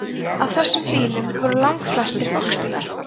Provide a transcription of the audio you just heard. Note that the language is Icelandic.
af þessum bílum voru langflestir fólksbílar